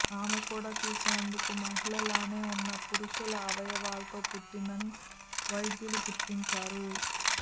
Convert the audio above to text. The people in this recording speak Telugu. ఆమె కూడా చూసేందుకు మహిళలానే ఉన్నా పురుషుల అవయవాలతో పుట్టిందని వైద్యులు గుర్తించారు